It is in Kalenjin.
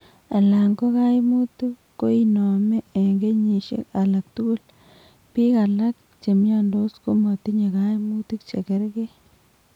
Alan ko kaimutik koinomee eng' kenyisiek alaktugul biik alak chemiondos komatinye kaimutik chekerkee